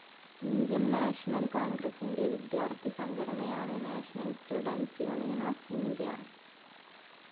Indian national കോൺഗ്രസിന്റെ വിദ്യാർത്ഥി സംഘടനയാണ് national students union of India.